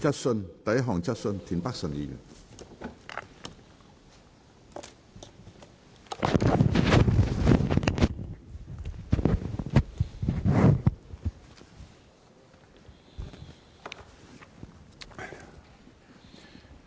第一項質詢。